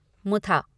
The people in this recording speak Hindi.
मुथा